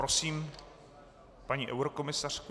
Prosím paní eurokomisařku.